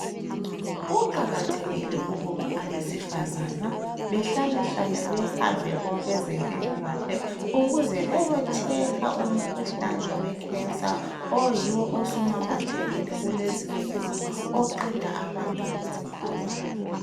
Kuqakathekile ukuba abesifazana behlale hlale behambe kwabeze mplilakahle ukuze beyo hlolwa umkhuhlane wenvukuzane osuqede abesifazana abanengi.